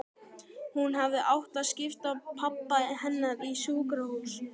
Hún hefði átt að skipa pabba hennar á sjúkrahús.